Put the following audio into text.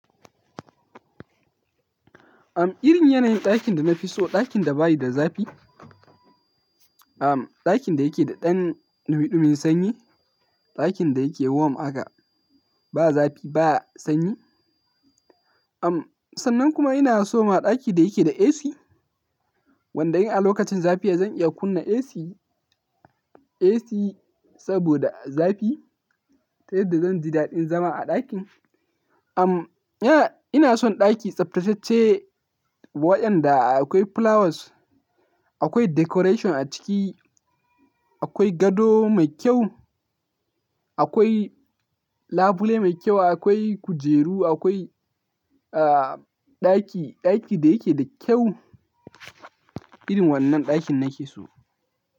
Am, irin yanayin ɗakin da na fi so, ɗakin da bayi da zafi. Am, ɗakin da yake da ɗan numiɗumin sanyi. Ɗakin da yake warm aka, ba zafi ba sanyi. Sannan kuma ina so maɗaki da yake da AC. Wanda in a lokacin zafi zan iya kunna AC, AC saboda zafi ta yadda zan ji daɗin zama a ɗakin. Ina, ina son ɗaki tsaftatacce waɗanda akwai flowers, akwai decoration a ciki, akwai gado mai kyau, akwai labule mai kyau, akwai kujeru, akwai, ɗaki, ɗaki da yake da kyau. Irin wannan ɗakin nake so.